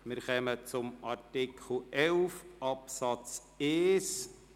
Wir kommen nun zu Artikel 11 Absatz 1.